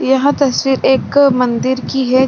यहाँ तस्वीर एक मंदिर की है।